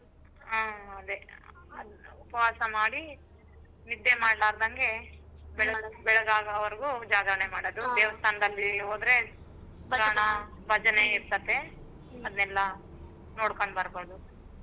ಹಾ ಅದೇ ಉಪವಾಸ ಮಾಡಿ ನಿದ್ದೆ ಮಾಡ್ಲಾರ್ದಂಗೆ ಬೆಳಗಾಗವರ್ಗೂ ಜಾಗರಣೆ ಮಾಡದು. ಹೋದ್ರೆ ಭಜನೆ ಇರ್ತತೆ ಅದ್ನೆಲ್ಲಾ ನೋಡ್ಕೊಂಡು ಬರ್ಬೋದು.